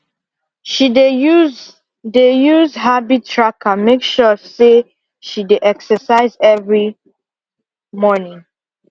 she dey use dey use habit tracker make sure say she dey exercise every morning